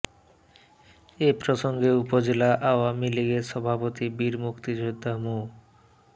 এ প্রসঙ্গে উপজেলা আওয়ামী লীগের সভাপতি বীর মুক্তিযোদ্ধা মো